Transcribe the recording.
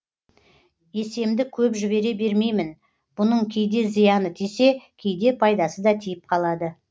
есемді көп жібере бермеймін бұның кейде зияны тисе кейде пайдасы да тиіп қалады